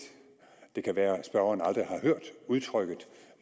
det kan være at spørgeren aldrig har hørt udtrykket